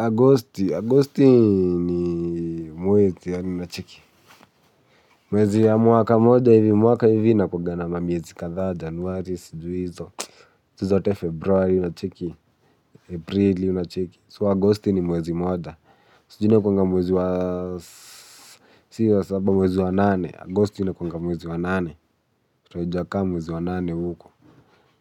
Agosti. Agosti ni mwezi ya unacheki. Mwezi ya mwaka moja hivi mwaka hivi inakuwanga na mamiezi kadhaa januari sijui hizo. Tuzote februari unacheki, aprili unacheki. So Agosti ni mwezi mmoja. So june inakuwanga mwezi wa nane. Agosti inakuwanga mwezi wa nane. Kwa ujaka mwezi wa nane huko.